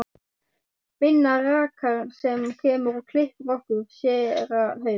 Binna rakara sem kemur og klippir okkur, séra Hauk